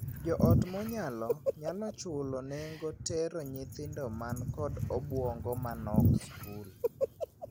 Joot monyalo nyalo chulo nengo tero nyithindo man kod obuongo ma nok skul.